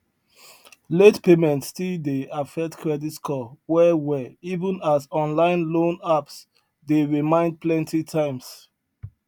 late payment still dey affect credit score well well even as online loan apps dey remind plenty times